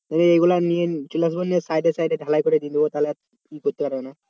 ওইগুলো নিয়ে চলে আসবো। লিয়ে সাইডে সাইড ঢালাই করে দিয়ে দেবো তাহলে আর কিছু করতে পারবে না।